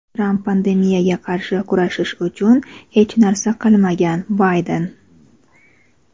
Tramp pandemiyaga qarshi kurashish uchun hech narsa qilmagan - Bayden.